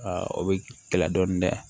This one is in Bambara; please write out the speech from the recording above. o bɛ kɛlɛ dɔɔnin dɛ